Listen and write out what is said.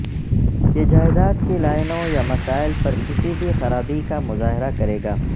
یہ جائیداد کی لائنوں یا مسائل پر کسی بھی خرابی کا مظاہرہ کرے گا